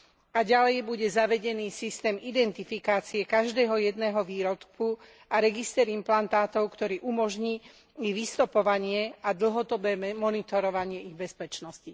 A ďalej bude zavedený systém identifikácie každého jedného výrobku a register implantátov, ktorý umožní ich vystopovanie a dlhodobé monitorovanie ich bezpečnosti.